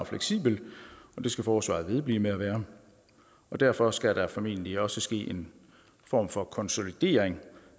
fleksibelt og det skal forsvaret vedblive med at være og derfor skal der formentlig også ske en form for konsolidering